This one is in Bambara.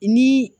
Ni